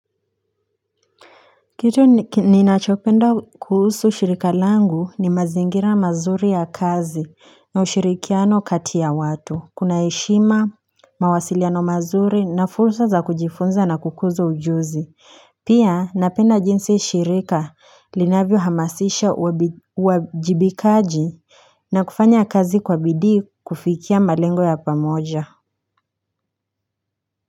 Kitu ninachopenda kuhusu shirika langu ni mazingira mazuri ya kazi na ushirikiano kati ya watu kuna heshima mawasiliano mazuri na fursa za kujifunza na kukuza ujuzi pia napenda jinsi shirika linavyo hamasisha uwajibikaji na kufanya kazi kwa bidii kufikia malengo ya pamoja.